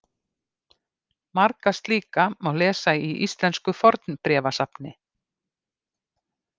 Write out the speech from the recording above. Marga slíka má lesa í Íslensku fornbréfasafni.